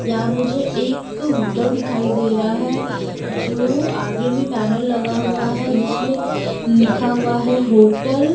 यहां मुझे एक होटल दिखाई दे रहा है जो आगे में बैनर लगा हुआ है जिसमें लिखा हुआ है होटल --